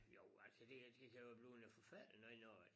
Jo altså det det kan jo blive noget forfærdeligt noget når at